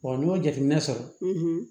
n'i y'o jateminɛ sɔrɔ